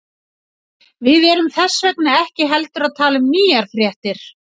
Við erum þess vegna ekki heldur að tala um nýjar fréttir.